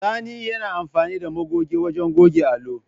Sani yana amfani da magoge wajen goge allo.